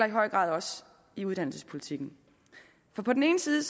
i høj grad i uddannelsespolitikken på den ene side